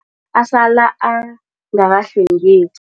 Asala angakahlwengeki.